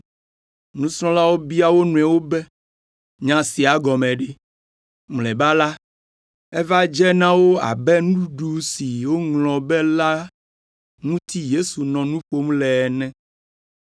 Nusrɔ̃lawo bia wo nɔewo be, “Nya sia gɔme ɖe?” Mlɔeba la, eva dze na wo abe nuɖuɖu si woŋlɔ be la ŋuti Yesu nɔ nu ƒom le ene.